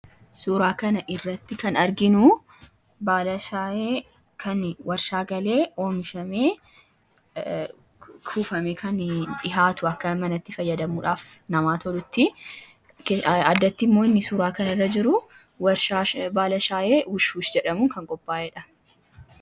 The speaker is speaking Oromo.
Suuraa kana irratti kan arginu baala shaayee warshaa galee oomishamee kuufamee kan dhiyaatudha. Kunis manatti fayyadamuuf akka namaa tolutti. Addatti immoo inni suuraa kana irra jiru warshaa baala shaayee 'Wushwush' jedhamuun kan qophaa'edha.